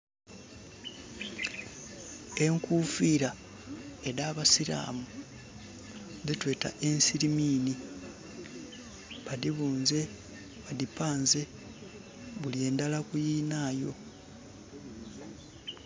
Enkufira edh'absiraamu dhetweta ensiriminhi, badhibunze badhipanze buli ndhala ku yinhayo.